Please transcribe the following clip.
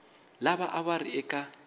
lava a va ri eka